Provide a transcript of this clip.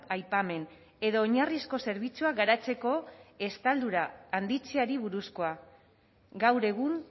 aipamen edo oinarrizko zerbitzuak garatzeko estaldura handitzeari buruzkoa gaur egun